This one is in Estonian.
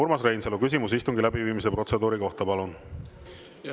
Urmas Reinsalu, küsimus istungi läbiviimise protseduuri kohta, palun!